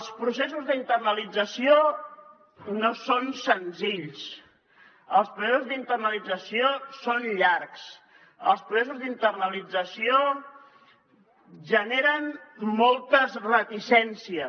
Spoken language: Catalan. els processos d’internalització no són senzills els processos d’internalització són llargs els processos d’internalització generen moltes reticències